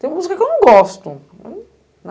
Tem música que eu não gosto, né?